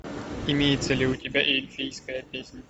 имеется ли у тебя эльфийская песнь